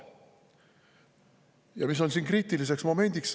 Ja mis on siin kriitiliseks momendiks?